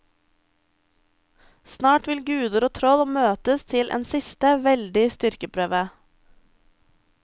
Snart vil guder og troll møtes til en siste, veldig styrkeprøve.